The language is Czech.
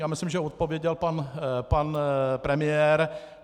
Já myslím, že odpověděl pan premiér.